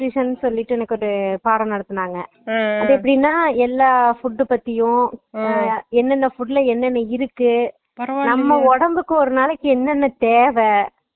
food nutrition னு சொல்லிட்டு எனக்கு ஒரு பாடம் நடத்துனாங்க அது எப்புடினா எல்ல food பத்தியும் என்னன்னா food ல என்னன்னா இருக்கு நம்ம உடம்புக்கு ஒரு நாளைக்கு என்னன்னா தேவை